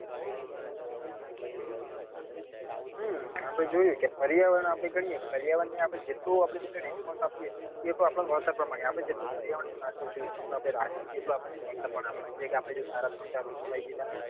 હા આપડે જોયું કે પર્યાવરણ આપડે કહીએ કે પર્યાવરણ ને આપડે જેટલું પર્યાવરણ ને response આપીએ એ પ્રમાણે વળતર પણ મળે આપડે જેટલું પર્યાવરણ સાચવીસું આપડે જેટલું રાખીશું એટલું આપણને વળતર પણ આપશે જેમ્મ કે આપડે સારા ત્રણ ચાર વૃક્ષ વાવી દીધા